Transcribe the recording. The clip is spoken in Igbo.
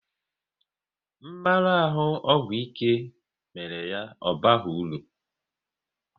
Mmarahu ọgwụ ike mere ya ọ baghị uru